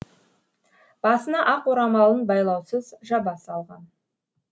басына ақ орамалын байлаусыз жаба салған